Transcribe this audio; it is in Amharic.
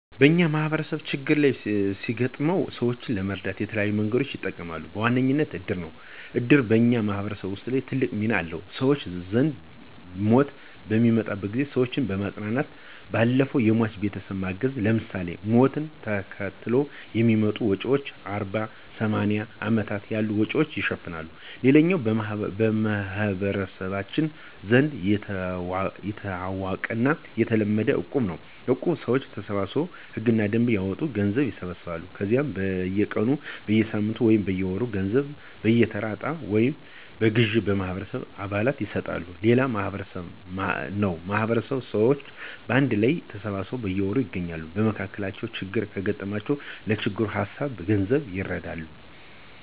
በኛ ማህበረሰብ ችግር ሲገጥመው ሰወችን ለመርዳት የተለያዩ መንገዶችን ይጠቀማሉ። በዋነኝነት እድር ነው። እድር በኛ ማህበረሰብ ውስጥ ትልቅ ሚና አለው። በሰወች ዘንድ ሞት በሚመጣበት ጊዜ ሰወችን ከማፅናናት ባለፈ የሟች ቤተሰብን ማገዝ ለምሳሌ፦ ሞትን ተከትለው ለሚመጡ ወጭወች አርባ፣ ሰማኒያ እና አመታት ያሉ ወጭወችን ይሸፍናል። ሌላኛው በመህበረሰባችን ዘንድ የታወቀውና የተለመደው እቁብ ነው። እቁብ ሰወች ተሰባስበው ህግና ደንብ ያወጡና ገንዘብ ይሰበስባሉ ከዛ በየ ቀኑ፣ በየሳምንቱ ወይም በየወሩ ገንዘቡን በየተራ እጣ ወይም በግዠ ለማህበረሰቡ አባል ይሰጣሉ። ሌላኛው ማህበር ነው ማህበር ሰወች በአንድ ላይ ተሰባስበው በየወሩ ይገናኛሉ። በመካከላቸው ችግር ከገጠማቸው ለችግሩ በሀሳብም በገንዘብም ይረዳዳሉ።